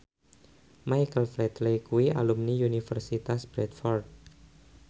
Michael Flatley kuwi alumni Universitas Bradford